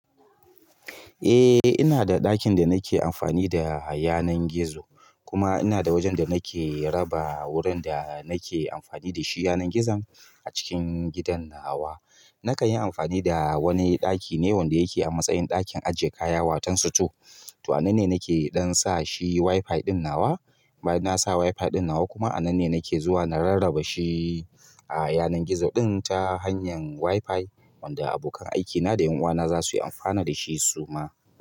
Eh ina da ɗakin da nake amfani da yanan gizo, kuma ina da wajen da nake raba wurin da nake amfani da shi yanar gizon a cikin gidan nawa. Nakan yi amfani da wani ɗaki ne wanda yake a matsayin ɗakin aje kaya watan sito. To ananne nake ɗan sa shi WiFi ɗin nawa. Bayan nasa WiFi ɗin nawa kuma a nan ne nake zuwa na rarraba shi a yanar gizo ɗin ta hanyar WiFi wanda abokan aikina da ƴan uwana za su yi amfani da shi suma.